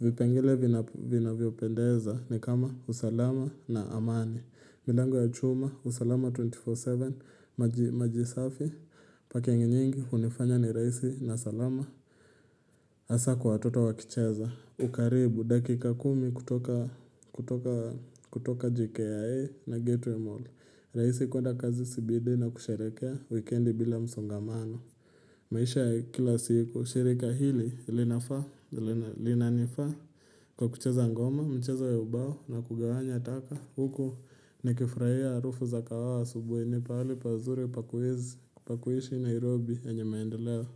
vipengele vinavyopendeza ni kama usalama na amani milango ya chuma, usalama 24-7, maji safi, parking nyingi hunifanya ni raisi na salama hasa kwa watoto wakicheza, ukaribu dakika kumi kutoka kutoka jkia na gateway mall raisi kwenda kazi cbd na kusherehekea wikendi bila msongamano. Maisha kila siku, shirika hili linafaa, linanifaa kwa kucheza ngoma, mcheza ya ubao na kugawanya taka. Huko ni nikifurahia harufu za kahawa asubuhi ni pahali pazuri pakwezi, pa kuishi Nairobi yenye maendeleo.